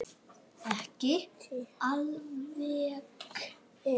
Ekki alveg.